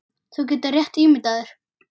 Þú getur rétt ímyndað þér!